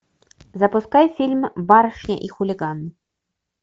запускай фильм барышня и хулиган